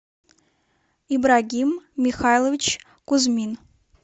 ибрагим михайлович кузьмин